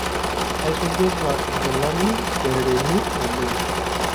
Kaisujita nkilani kerereni oleng.